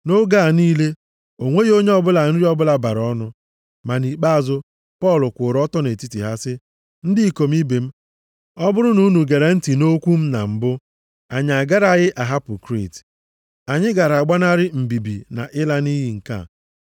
Nʼoge a niile, o nweghị onye ọbụla nri ọbụla bara ọnụ. Ma nʼikpeazụ. Pọl kwụụrụ ọtọ nʼetiti ha sị, “Ndị ikom ibe m, ọ bụrụ na unu gere ntị nʼokwu m na mbụ, anyị agaraghị ahapụ Kriit. Anyị gara agbanarị mbibi na ịla nʼiyi nke a.